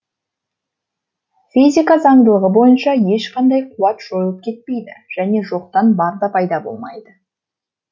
физика заңдылығы бойынша ешқандай қуат жойылып кетпейді және жоқтан бар да пайда болмайды